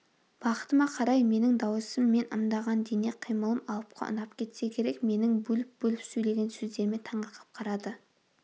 бақытыма қарай менің дауысым мен ымдаған дене қимылым алыпқа ұнап кетсе керек менің бөліп-бөліп сөйлеген сөздеріме таңырқап қарады